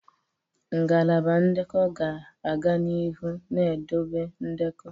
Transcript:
Ngalaba ndekọ ga-aga n'ihu na-edobe ndekọ.